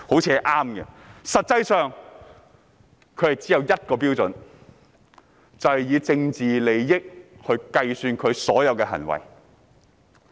實際上，他們只有一項準則，就是根據政治利益盤算所有行為。